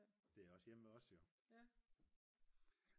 det er også hjemme ved os jo